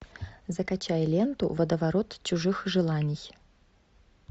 закачай ленту водоворот чужих желаний